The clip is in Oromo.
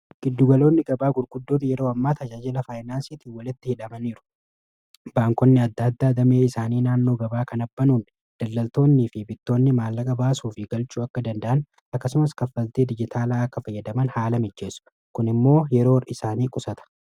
giddugaloonni gabaa gurguddoota yeroo ammaati tajaajila faayinaansiitiin walitti hidhamaniiru baankonni adda addaa damee isaanii naannoo gabaa kan abbanuun dallaltoonnii fi bittoonni maallaqa baasuuf galchuu akka danda'an akkasumas kaffaltii dijitaalaa akka fayyadaman haala mijjeesu kun immoo yeroo isaanii qusata